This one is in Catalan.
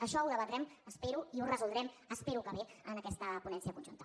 això ho debatrem espero i ho resoldrem espero que bé en aquesta ponència conjunta